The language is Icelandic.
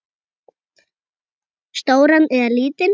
Stóran eða lítinn?